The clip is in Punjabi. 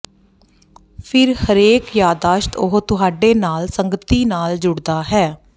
ਫਿਰ ਹਰੇਕ ਯਾਦਦਾਸ਼ਤ ਉਹ ਤੁਹਾਡੇ ਨਾਲ ਸੰਗਤੀ ਨਾਲ ਜੁੜਦਾ ਹੈ